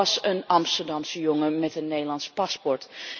Het was een Amsterdamse jongen met een Nederlands paspoort.